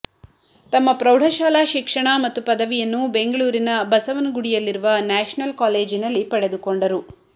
ತಮ್ಮ ಪ್ರೌಢಶಾಲಾ ಶಿಕ್ಷಣ ಮತ್ತು ಪದವಿಯನ್ನು ಬೆಂಗಳೂರಿನ ಬಸವನಗುಡಿಯಲ್ಲಿರುವ ನ್ಯಾಷನಲ್ ಕಾಲೇಜಿನಲ್ಲಿ ಪಡೆದುಕೊಂಡರು